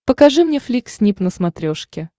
покажи мне флик снип на смотрешке